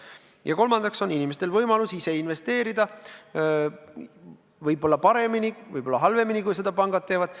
Ja kolmandaks on inimestel võimalus ise investeerida – võib-olla paremini, võib-olla halvemini, kui seda pangad teevad.